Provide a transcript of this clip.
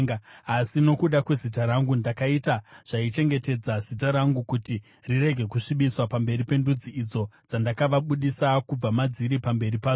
Asi nokuda kwezita rangu ndakaita zvaichengetedza zita rangu kuti rirege kusvibiswa pamberi pendudzi idzo dzandakavabudisa kubva madziri pamberi padzo.